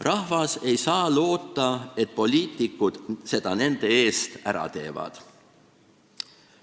Rahvas ei saa loota, et poliitikud selle nende eest ära teevad.